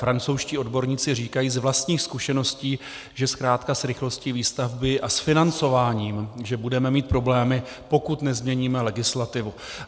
Francouzští odborníci říkají z vlastních zkušeností, že zkrátka s rychlostí výstavby a s financováním že budeme mít problémy, pokud nezměníme legislativu.